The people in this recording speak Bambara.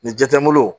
Nin ja tɛ n bolo